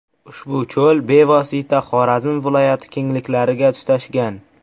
Ushbu cho‘l bevosita Xorazm viloyati kengliklariga tutashgan.